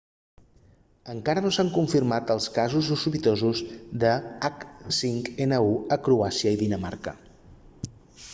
encara no s'han confirmat els casos sospitosos de h5n1 a croàcia i dinamarca